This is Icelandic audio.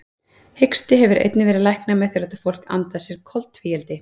Hiksti hefur einnig verið læknaður með því að láta fólk anda að sér koltvíildi.